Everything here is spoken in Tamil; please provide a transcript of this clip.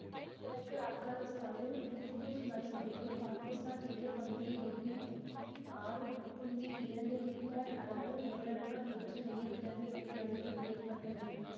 கிழக்கு ஆப்கானிஸ்தானில் இந்துகுஷ் மலை பகுதியில் பாகிஸ்தான் எல்லை பகுதியை ஒட்டி ஆறு இரண்டு ரிக்டர் அளவு நிலநடுக்கம் நேற்று வெள்ளி கிழமை அதிகாலையில் ஏற்பட்டது